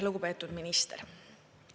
Lugupeetud minister!